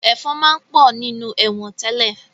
Ẹ̀fọ̀n máa ń pọ̀ nínú ẹ̀wọ̀n tẹ́lẹ̀